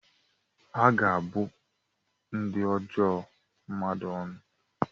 A ga-abụ ndị ajọ mmadụ ọnụ.